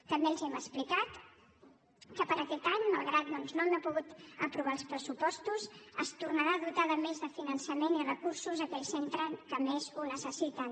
també els hem explicat que per a aquest any malgrat doncs que no hem pogut aprovar els pressupostos es tornaran a dotar de més finançament i recursos aquells centres que més ho necessiten